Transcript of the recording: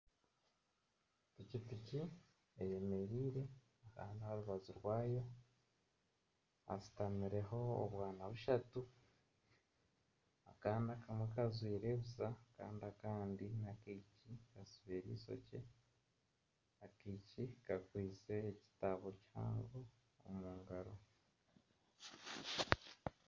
Pikipiki eyemereire kandi aha rubaju rwayo hashutamireho obwana bushatu, akaana akamwe kajwire busha kandi akandi kasibire eishokye, akaishiki kakwitse ekitabo kihango omu ngaro